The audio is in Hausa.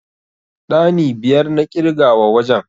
Ɗani biyar na ƙirga wa wajen.